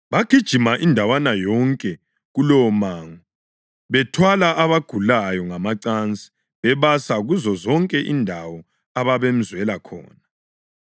Bagijima indawana yonke kulowomango bethwala abagulayo ngamacansi bebasa kuzozonke indawo ababemzwela khona.